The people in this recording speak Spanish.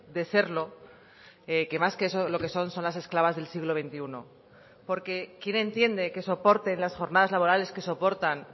de serlo que más que eso lo que son son las esclavas del siglo veintiuno porque quién entiende que soporten las jornadas laborales que soportan